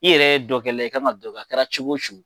I yɛrɛ ye dɔkɛla ye i kan ka dɔ kɛ a kɛra cogo o cogo